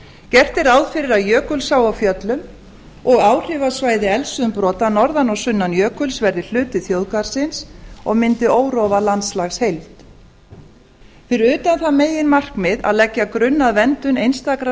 gert er ráð fyrir að jökulsá á fjöllum og áhrifasvæði eldsumbrota norðan og sunnan jökuls verði hluti þjóðgarðsins og myndi órofa landslagsheild fyrir utan það meginmarkmið að leggja grunn að verndun einstakrar